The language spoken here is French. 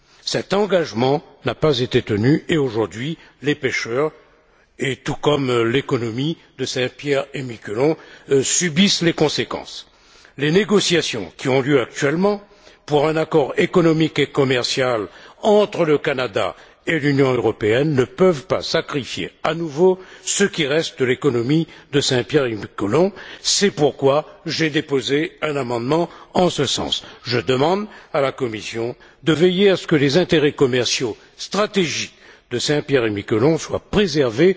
Cet engagement n'a pas été tenu et, aujourd'hui, les pêcheurs, tout comme l'économie de Saint Pierre et Miquelon, en subissent les conséquences. Les négociations qui ont lieu actuellement pour un accord économique et commercial entre le Canada et l'Union européenne ne peuvent pas sacrifier, à nouveau, ce qui reste de l'économie de Saint Pierre et Miquelon, c'est pourquoi j'ai déposé un amendement en ce sens. Je demande à la Commission de veiller à ce que les intérêts commerciaux stratégiques de Saint Pierre et Miquelon soient préservés